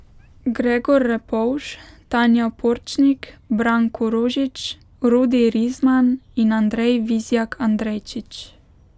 Gregor Repovž, Tanja Porčnik, Branko Rožič, Rudi Rizman in Andrej Vizjak Andrejčič.